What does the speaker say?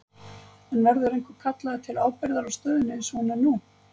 En verður einhver kallaður til ábyrgðar á stöðunni eins og hún er nú?